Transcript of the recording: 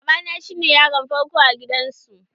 Baba na cine yaron farko a gidan su.